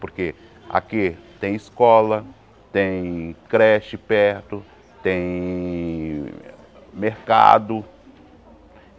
Porque aqui tem escola, tem creche perto, tem mercado.